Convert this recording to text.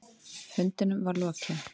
Fundinum var lokið.